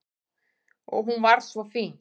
Og hún var svo fín.